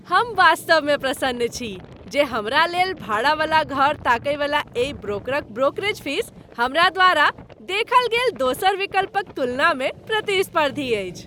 हम वास्तवमे प्रसन्न छी जे हमरा लेल भाड़ा वाला घर ताकयवला एहि ब्रोकरक ब्रोकरेज फीस हमरा द्वारा देखल गेल दोसर विकल्पक तुलनामे प्रतिस्पर्धी अछि।